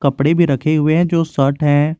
कपड़े भी रखे हुए हैं जो शर्ट है।